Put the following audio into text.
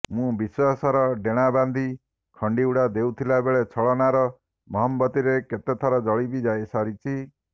ମୁଁ ବିଶ୍ୱାସର ଡେଣା ବାନ୍ଧି ଖଣ୍ଡିଉଡ଼ା ଦେଉଥିବାବେଳେ ଛଳନାର ମହମବତୀରେ କେତେ ଥର ଜଳି ବି ସାରିଛି